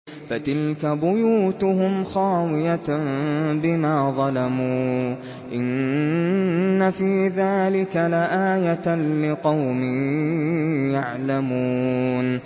فَتِلْكَ بُيُوتُهُمْ خَاوِيَةً بِمَا ظَلَمُوا ۗ إِنَّ فِي ذَٰلِكَ لَآيَةً لِّقَوْمٍ يَعْلَمُونَ